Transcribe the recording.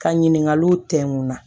Ka ɲininkaliw tɛŋu na